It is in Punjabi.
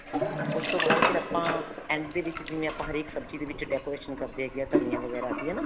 ਉਸ ਤੋਂ ਬਾਅਦ ਫ਼ਿਰ ਆਪਾਂ end ਦੇ ਵਿੱਚ ਜਿਵੇਂ ਆਪਾਂ ਹਰੇਕ ਸਬਜ਼ੀ ਦੇ ਵਿੱਚ decoration ਕਰਦੇ ਹਾਂ ਧਨੀਆ ਵਗੈਰਾ ਦੀ ਹਨਾ